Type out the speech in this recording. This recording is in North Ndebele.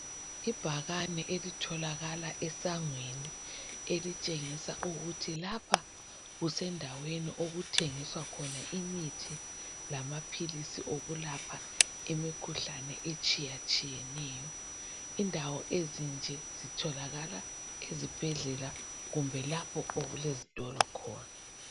Ibhakane elitholakala esangweni elitshengisa ukuthi lapha kusendaweni okuthengiswa khona imithi lamaphilisi okulapha imikhuhlane etshiyatshiyeneyo. Indawo ezinje zitholakala ezibhedlela kumbe lapho okulezitolo khona.